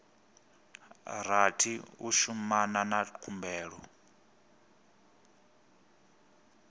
rathi u shumana na khumbelo